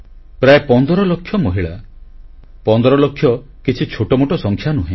ପ୍ରାୟ 15 ଲକ୍ଷ ମହିଳା 15ଲକ୍ଷ କିଛି ଛୋଟମୋଟ ସଂଖ୍ୟା ନୁହେଁ